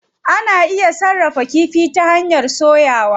Ana iya sarrafa kifi ta hanyar soyawa.